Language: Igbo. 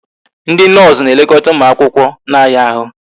Ndị noosu na-elekọta ụmụ akwụkwọ na-aya ahụ